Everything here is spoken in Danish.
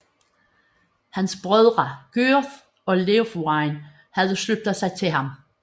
Hans brødre Gyrth og Leofwine havde sluttet sig til ham